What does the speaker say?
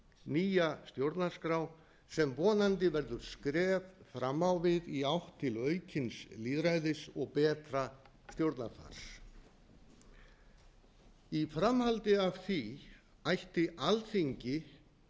nýja stjórnarskrá sem vonandi verður skref fram á við í átt til aukins lýðræðis og betra stjórnarfars í framhaldi af því ætti alþingi